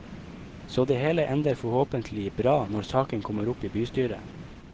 Så det hele ender forhåpentlig bra når saken kommer opp i bystyret.